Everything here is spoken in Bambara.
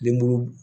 Denbulu